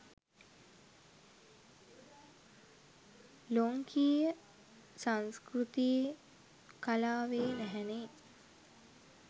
ලොංකීය සංස්කෘතියෙ කලාවේ නැහැනේ.